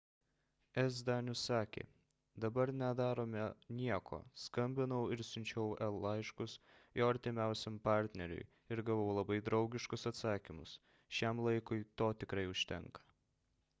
s danius sakė dabar nedarome nieko skambinau ir siunčiau el laiškus jo artimiausiam partneriui ir gavau labai draugiškus atsakymus šiam laikui to tikrai užtenka